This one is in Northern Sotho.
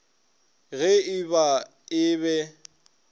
ge e ba e be